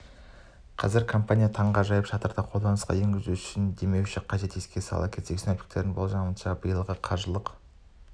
қазір компанияға таңғажайып шатырды қолданысқа енгізу үшін демеуші қажет еске сала кетсек синоптиктердің болжамынша биылғы қажылық